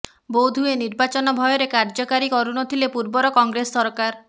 ବୋଧୁଏ ନିର୍ବାଚନ ଭୟରେ କାର୍ୟ୍ୟକାରୀ କରୁନଥିଲେ ପୂର୍ବର କଂଗ୍ରେସ ସରକାର